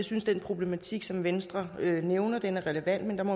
synes at den problematik som venstre nævner er relevant men